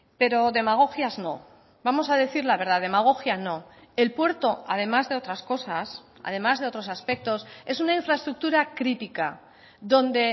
pero demagogias no vamos a decir la verdad demagogia no el puerto además de otras cosas además de otros aspectos es una infraestructura crítica donde